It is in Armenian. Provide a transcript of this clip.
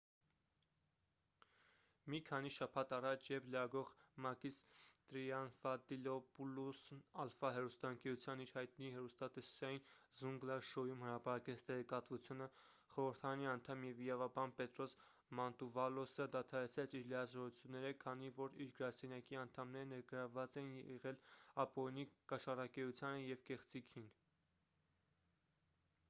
մի քանի շաբաթ առաջ երբ լրագրող մակիս տրիանտաֆիլոպուլոսն ալֆա հեռուստաընկերության իր հայտնի հեռուստատեսային զունգլա շոույում հրապարակեց տեղեկատվությունը խորհրդարանի անդամ և իրավաբան պետրոս մանտուվալոսը դադարեցրեց իր լիազորությունները քանի որ իր գրասենյակի անդամները ներգրավված էին եղել ապօրինի կաշառակերությանը և կեղծիքին